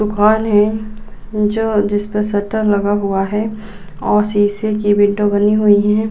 दुकान है जो जिसपर शटर लगा हुआ है और शीशे की विंडो बनी हुई है।